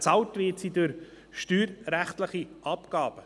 Bezahlt wird sie durch steuerrechtliche Abgaben.